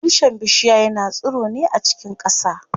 Tushen bishiya yana tsiro ne a cikin ƙasa.